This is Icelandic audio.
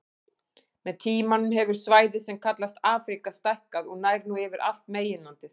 Með tímanum hefur svæðið sem kallast Afríka stækkað og nær nú yfir allt meginlandið.